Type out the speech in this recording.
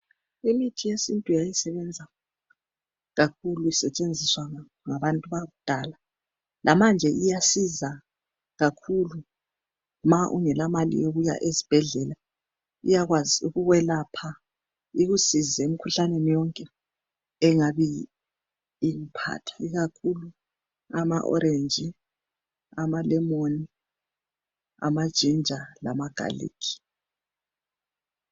Imithi yesintu yayisebenza kakhulu isetshenziswa ngabantu bakudala lamanje iyasiza kakhulu ma ungela mali yokuya esibhedlela iyakwazi ukukwelapha ikusize emkhuhlaneni yonke engaba iliphatha ikakhulu amaorange amalemon amaginger lamagarlic.